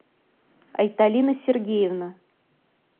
айталина сергеевна